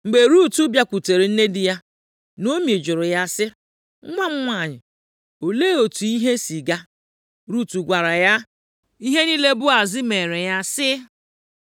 Mgbe Rut bịakwutere nne di ya, Naomi jụrụ ya sị, “Nwa m nwanyị, olee otu ihe si gaa?” Rut gwara ya ihe niile Boaz meere ya, sị,